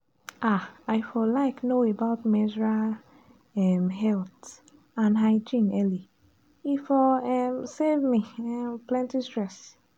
ah i for like know about menstrual um health and hygiene early—e for um save me um plenty stress.